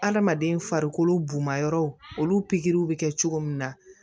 Adamaden farikolo buna yɔrɔw olu pikiri bɛ kɛ cogo min na